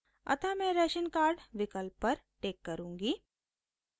अतः मैं ration card विकल्प पर टिक करुँगी